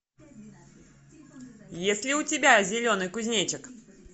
есть ли у тебя зеленый кузнечик